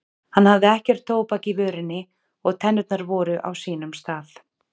Hann hafði ekkert tóbak í vörinni og tennurnar voru á sínum stað.